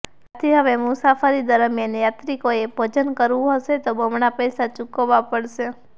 આથી હવે મુસાફરી દરમિયાન યાત્રિકોએ ભોજન કરવું હશે તો બમણા પૈસા ચૂકવવા પડશે